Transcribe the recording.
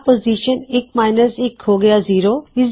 ਤਾਂ ਪੋਜ਼ਿਸ਼ਨ ਇੱਕ ਮਾਇਨਸ ਇੱਕ ਹੋ ਹਇਆ ਜ਼ੀਰੋ